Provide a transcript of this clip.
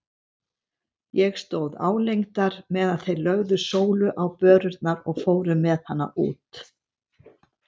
Ég stóð álengdar meðan þeir lögðu Sólu á börurnar og fóru með hana út.